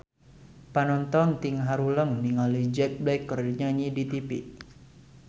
Panonton ting haruleng ningali Jack Black keur nyanyi di tipi